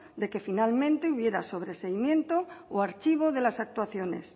de que finalmente hubiera sobreseimiento o archivo de las actuaciones